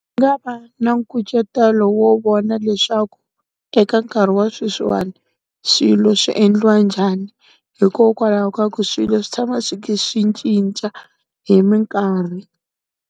Nga va na nkucetelo wo vona leswaku, eka nkarhi wa sweswiwani, swilo swi endliwa njhani. Hikokwalaho ka ku swilo swi tshama swi swi cinca hi minkarhi.